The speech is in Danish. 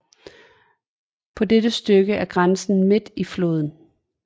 På dette stykke er grænsen midt i floden